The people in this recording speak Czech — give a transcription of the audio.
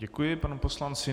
Děkuji panu poslanci.